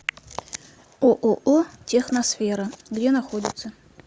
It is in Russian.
ооо техносфера где находится